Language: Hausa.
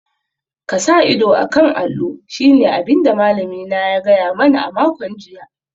Ka sa ido a kan allo shine abin da malamina ya gaya mani a makon jiya